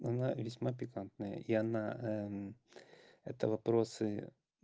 она весьма пикантная и она это вопросы